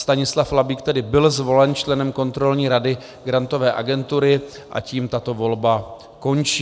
Stanislav Labík tedy byl zvolen členem Kontrolní rady Grantové agentury a tím tato volba končí.